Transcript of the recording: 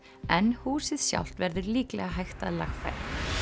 en húsið sjálft verður líklega hægt að lagfæra